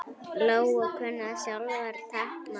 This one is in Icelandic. Lóa: Kunnið þið sjálfir táknmál?